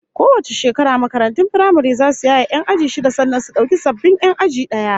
Kowace shekara makarantun firamare zasu yaye 'yan aji shida sannan su dauki sababbin 'yan aji daya